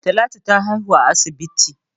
Talatu ta haihu a asibit.